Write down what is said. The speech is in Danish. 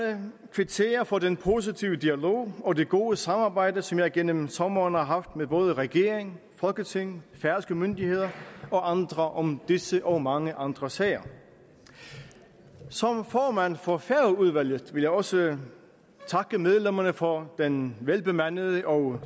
kvittere for den positive dialog og det gode samarbejde som jeg gennem sommeren har haft med både regering folketing færøske myndigheder og andre om disse og mange andre sager som formand for færøudvalget vil jeg også takke medlemmerne for den velbemandede og